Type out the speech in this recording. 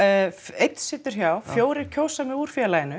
einn situr hjá fjórir kjósa mig úr félaginu